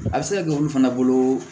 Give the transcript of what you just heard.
A bɛ se ka kɛ olu fana bolo